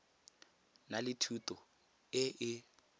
na le thuto e e